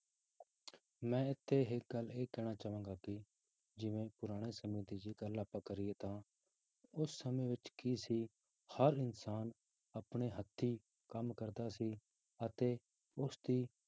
ਮੈਂ ਇੱਥੇ ਇੱਕ ਗੱਲ ਇਹ ਕਹਿਣਾ ਚਾਹਾਂਗਾ ਕਿ ਜਿਵੇਂ ਪੁਰਾਣੇ ਸਮੇਂ ਦੀ ਗੱਲ ਜੇ ਆਪਾਂ ਕਰੀਏ ਤਾਂ ਉਸ ਸਮੇਂ ਵਿੱਚ ਕੀ ਸੀ ਹਰ ਇਨਸਾਨ ਆਪਣੇ ਹੱਥੀ ਕੰਮ ਕਰਦਾ ਸੀ ਅਤੇ ਉਸਦੀ